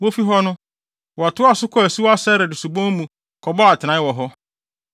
Wofi hɔ no, wɔtoaa so kɔɔ asuwa Sered Subon mu kɔbɔɔ atenae wɔ hɔ.